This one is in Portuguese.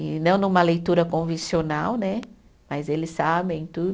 E não numa leitura convencional né, mas eles sabem